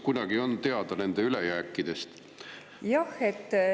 Kas on teada nende ülejääkide kohta?